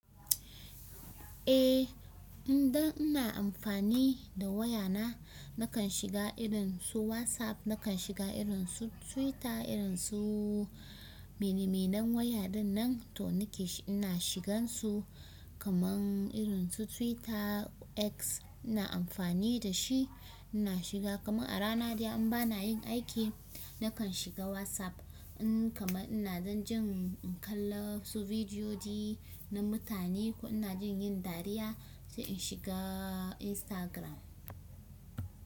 Eh, idan ina amfani da wayana nakan shiga irinsu Whatsapp, nakan shiga irin su twitter, irin su mene, me nan waya dinnan toh nake ina shigan su kaman irin su Twitter, X ina amfani da shi ina shiga. Kaman a rana dai in ba na yin aiki, nakan shiga WhatsApp in kaman ina dan jin in kalla su bidiyodi na mutane ko ina jin yin dariya sai in shiga Instagram.